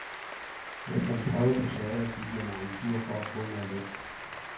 Efter en prøve på teatret gik jeg mig en tur for at få noget luft.